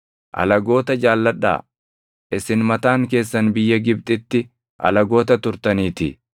Alagoota jaalladhaa; isin mataan keessan biyya Gibxitti alagoota turtaniitii.